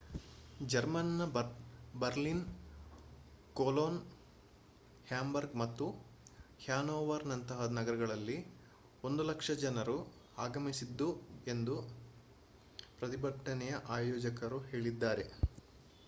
ಜರ್ಮನ್‌ನ Berlin Cologne Hamburg ಮತ್ತು ಹ್ಯಾನೋವರ್‌ನಂತಹ ನಗರಗಳಲ್ಲಿ 100,000 ಜನರು ಆಗಮಿಸಿದ್ದರು ಎಂದು ಪ್ರತಿಭಟನೆಯ ಆಯೋಜಕರು ಹೇಳಿದ್ದಾರೆ